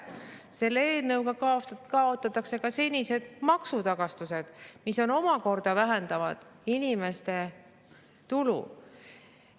Selle eelnõuga kaotatakse ka senised maksutagastused, mis omakorda vähendab inimeste tulusid.